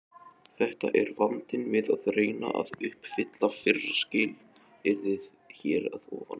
Þetta er vandinn við að reyna að uppfylla fyrra skilyrðið hér að ofan.